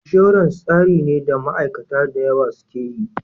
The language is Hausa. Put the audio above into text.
Insurance tsari ne da ma aikata dayawa suke yi